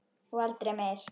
Og aldrei meir.